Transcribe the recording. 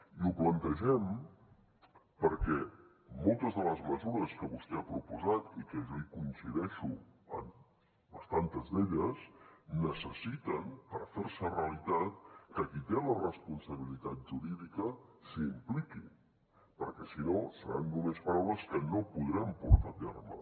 i ho plantegem perquè moltes de les mesures que vostè ha proposat i que jo coincideixo en bastantes d’elles necessiten per ferse realitat que qui té la responsabilitat jurídica s’hi impliqui perquè si no seran només paraules que no podrem portar a terme